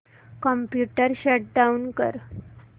computer shut down कर